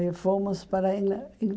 E fomos para a Ingla